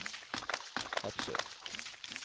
Hepsøy